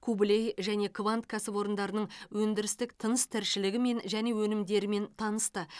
кублей және квант кәсіпорындарының өндірістік тыныс тіршілігімен және өнімдерімен танысты